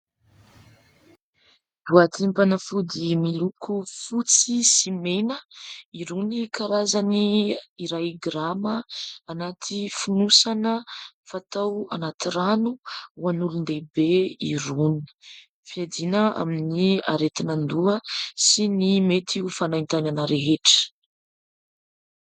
Boatim-panafody miloko fotsy sy mena irony karazany iray grama anaty finosana fatao anaty rano ho an'olon-dehibe irony. Fiadiana amin'ny aretin-doha sy ny mety ho fanaintainana rehetra.